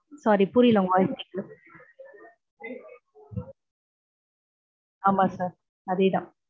Sorry புரியல உங்க voice கேக்கல ஆமா sir அதேதா